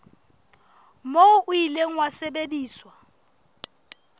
moo o ile wa sebediswa